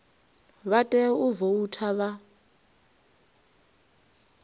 vha tea u voutha vha